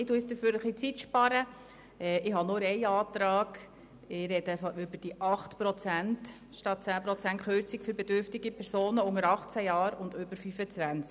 Ich spreche über die Kürzung um 8 Prozent statt um 10 Prozent für bedürftige Personen unter 18 Jahren und über 25 Jahren.